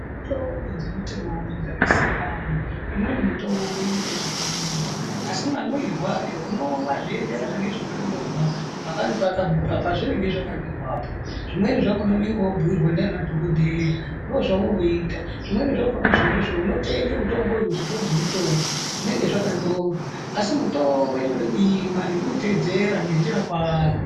Tombo dzemitombo dzaka siyana, imweni mitombo inoite zvekumwiwa, asi mamwirwe ayo unomwa zveienderana nezvakanyorwa, pazvinenge zvakanyorwapo, zvimweni zvakona unenge woo bhuirwa ndiana dhokotera, ndoo zvaunoita, zvimweni zvakona izvozvo unotenge mitombo muzvitoro zvimi tombo, zvinenge zvakanyorwa, asi mitombo inode kuimwa ngekuiteedzera ngenjira kwayo.